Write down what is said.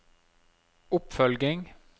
oppfølging